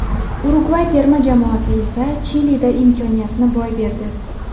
Urugvay terma jamoasi esa Chilida imkoniyatni boy berdi.